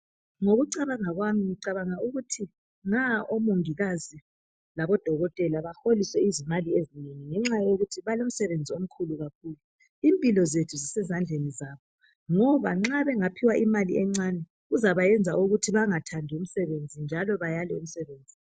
Ngokucabanga kwami ngicabanga ukuthi nga omongikazi labodokotela baholiswe izimali ezinengi ngenxa yokuthi balomsebenzi omkhulu kakhulu impilo zethu zisezandleni zabo ngoba nxa bengaphiwa imali encane kuzabayenza bengathandi umsebenzi njalo bayale umsebenzi.